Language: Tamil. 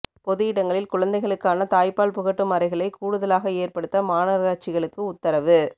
பொது இடங்களில் குழந்தைகளுக்கான தாய்ப்பால் புகட்டும் அறைகளை கூடுதலாக ஏற்படுத்த மாநகராட்சிகளுக்கு உத்தரவு